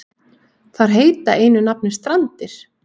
Þar heita einu nafni Strandir.